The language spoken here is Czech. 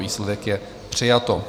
Výsledek je: přijato.